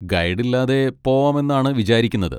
Guide ഇല്ലാതെ പോവാമെന്നാണ് വിചാരിക്കുന്നത്.